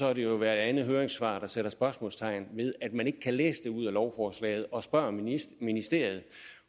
er det jo hvert andet høringssvar der sætter spørgsmålstegn ved at man ikke kan læse det ud af lovforslaget og derfor spørger ministeriet